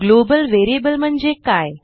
global variable म्हणजे काय